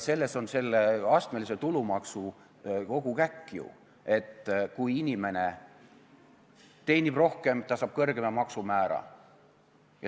Selles on selle astmelise tulumaksu kogu käkk ju, et kui inimene teenib rohkem, saab ta kõrgema maksumäära.